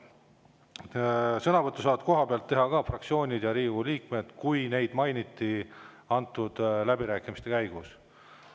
Sõna võtta saavad kohapeal ka fraktsioonid ja Riigikogu liikmed, kui neid mainiti läbirääkimiste käigus.